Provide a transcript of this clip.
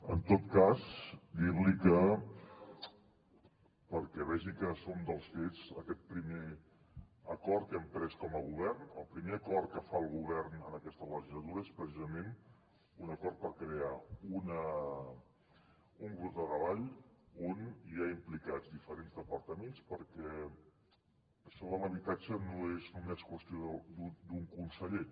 en tot cas dir li que perquè vegi que som dels fets aquest primer acord que hem pres com a govern el primer acord que fa el govern en aquesta legislatura és precisament un acord per crear un grup de treball on hi ha implicats diferents departaments perquè això de l’habitatge no és només qüestió d’un conseller